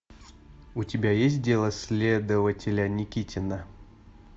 у тебя есть дело следователя никитина